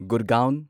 Gurgaon